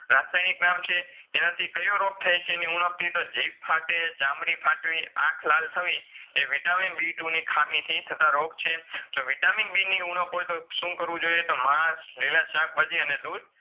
રાસાયનીક નામ છે. એનાથી કયો રોગ થાયછે ની ઉણકથી તો જીબ ફાટે, ચામળી ફાટવી આંખ લાલ થવી એ Vitamin B two ની ખામીથી થતાં રોગ છે જો Vitamin B ની ઉણક હોય તો શું કરવું જોઈએ તો માસ, લીલા શાકભાજી અને દૂધ